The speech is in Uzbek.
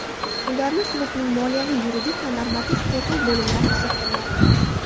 Ularni klubning moliyaviy, yuridik va normativ-huquqiy bo‘limlari qiziqtirmoqda.